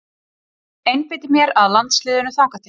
Ég einbeiti mér að landsliðinu þangað til.